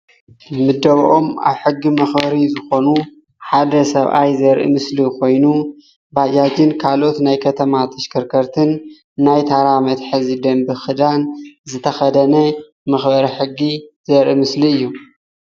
ምደበኦም ኣብ ሕጊ መክበሪ ኮይኑ ሓደ ሰብኣይ ዘርኢ ምስሊ ኮይኑ ባጃጅን ካልኦት ናይ ከተማ ተሽከርከርትን ናይ ታራ መትሐዚ ደንቢ ክዳን ዝተከደነ መክበሪ ሕጊ ዘርኢ ምስሊ እዩ፡፡